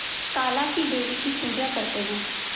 काला क़ी देवी की पूजा करते है